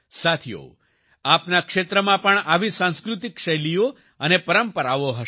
સાથીઓ આપના ક્ષેત્રમાં પણ આવી સાંસ્કૃતિક શૈલીઓ અને પરંપરાઓ હશે